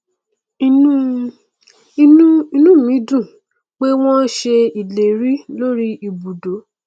inú inú ù mí dùn pé wọn ṣe ìlérí lórí ìbùdó